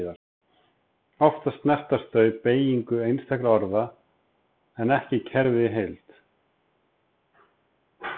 Oftast snerta þau beygingu einstakra orða en ekki kerfið í heild.